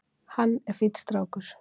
Hann er fínn strákur.